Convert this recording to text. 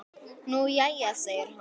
Nú jæja segir hann.